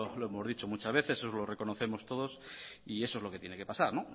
lo hemos dicho muchas veces eso lo reconocemos todos y eso es lo que tiene que pasar